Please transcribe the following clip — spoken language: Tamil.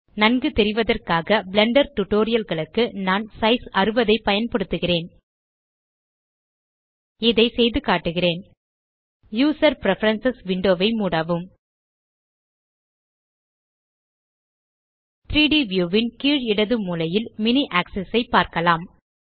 நன்கு தெரிவதற்காக பிளெண்டர் டியூட்டோரியல் களுக்கு நான் சைஸ் 60 ஐ பயன்படுத்துகிறேன் இதை செய்து காட்டுகிறேன் யூசர் பிரெஃபரன்ஸ் விண்டோ ஐ மூடவும் 3ட் வியூ ன் கீழ் இடது மூலையில் மினி ஆக்ஸிஸ் ஐ பார்க்கலாம்